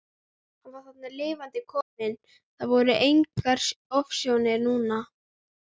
Hann var þarna lifandi kominn, það voru engar ofsjónir núna!